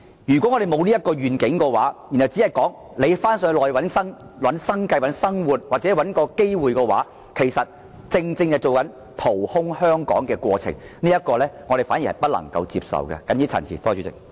如果香港沒有這個願景，只建議香港人到內地尋找生計或機遇的話，其實正正是掏空香港的行為，這是我們絕對不能接受的。